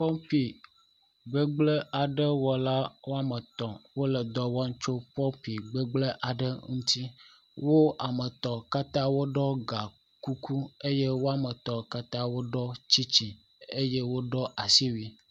Nyɔnu aɖe nɔ anyi hele botokɛ tɔm eye nyɔnu bubu hã nɔ anyi ɖe eƒe emegbe wole vi ɖe asi nugo yelo aɖe le nyɔnu yike ne botokea tɔm gbɔ eye kusi kple gagbawo hã le ekpe dzi le fi ma.